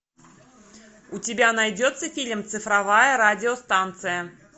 у тебя найдется фильм цифровая радиостанция